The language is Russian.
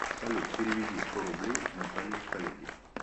салют переведи сто рублей наталье коллеге